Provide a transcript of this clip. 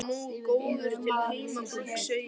Ég er alveg nógu góður til heimabrúks, segi ég.